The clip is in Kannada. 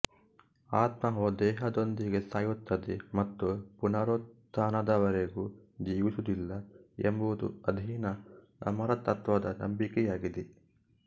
ಆತ್ಮವು ದೇಹದೊಂದಿಗೆ ಸಾಯುತ್ತದೆ ಮತ್ತು ಪುನರುತ್ಥಾನದವರೆಗೂ ಜೀವಿಸುವುದಿಲ್ಲ ಎಂಬುದು ಅಧೀನ ಅಮರತತ್ವದ ನಂಬಿಕೆಯಾಗಿದೆ